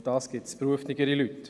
Dafür gibt es geeignetere Leute.